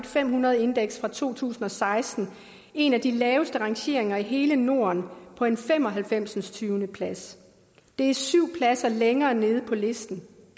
fem hundrede indeks fra to tusind og seksten en af de laveste rangeringer i hele norden på en femoghalvfemsende plads det er syv pladser længere nede på listen